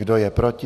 Kdo je proti?